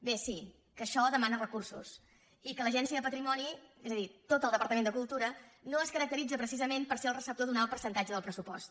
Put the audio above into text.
bé sí que això demana recursos i que l’agència de patrimoni és a dir tot el departament de cultura no es caracteritza precisament per ser el receptor d’un alt percentatge del pressupost